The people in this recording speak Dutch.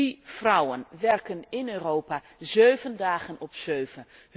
Die vrouwen werken in Europa zeven dagen op zeven.